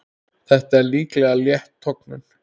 Þetta er líklega létt tognun.